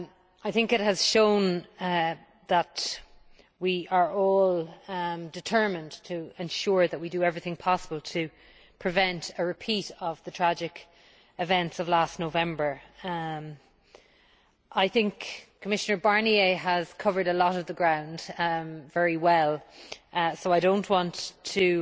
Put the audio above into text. I think it has shown that we are all determined to ensure that we do everything possible to prevent a repeat of the tragic events of last November. I think Commissioner Barnier has covered a lot of the ground very well so I do not want to